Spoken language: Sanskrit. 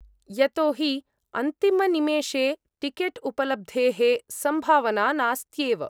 यतो हि अम्तिमनिमेषे टिकेट्उपलब्धेः सम्भावना नास्त्येव।